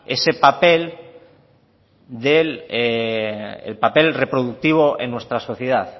ese papel reproductivo en nuestra sociedad